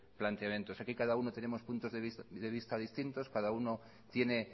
planteamientos aquí cada uno tenemos puntos de vista distintos cada uno tiene